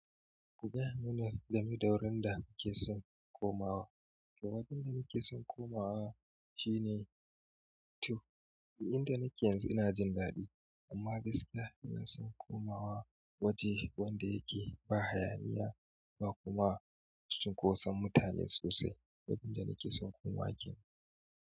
Ku gayamini game da wurin da kuke son komawa. Wajen da nake son komawa shine to. Inda nake yanzu ina jin daɗi amma gaskiya ina son komawa waje wanda yake ba hayaniya ba kuma cunkoson mutane sosai. Wajen da nake son komawa jiya.